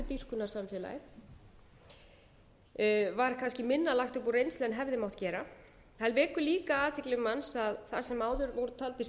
samfélagi og æskudýrkunarsamfélagi var kannski minna lagt upp úr reynslu en hefði mátt gera það vekur líka athygli manns að það sem áður voru taldir